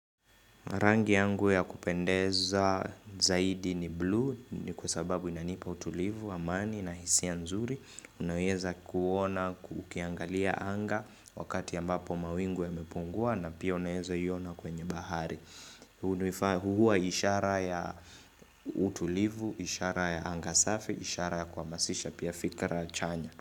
Rangi yangu ya kupendeza zaidi ni blue ni kwa sababu inanipa utulivu, amani na hisia nzuri. Unaweza kuona, ukiangalia anga wakati ambapo mawingu yamepungua na pia unaweza kuiona kwenye bahari. Huwa ishara ya utulivu, ishara ya anga safi, ishara ya kuhamasisha pia fikra chanya.